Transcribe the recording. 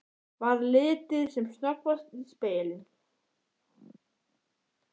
Varð litið sem snöggvast í spegilinn.